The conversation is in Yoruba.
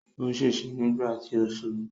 Ó ṣèṣe nígbà tí ó ṣubú.